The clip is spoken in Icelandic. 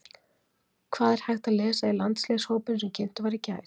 Hvað er hægt að lesa í landsliðshópinn sem kynntur var í gær?